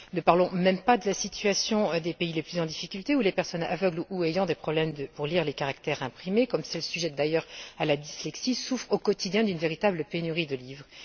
Ne parlons même pas de la situation des pays les plus en difficulté où les personnes aveugles ou ayant des problèmes pour lire les caractères imprimés, comme celles d'ailleurs sujettes à la dyslexie, souffrent au quotidien d'une véritable pénurie de livres!